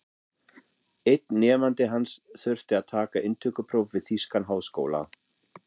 Einn nemandi hans þurfti að taka inntökupróf við þýskan háskóla.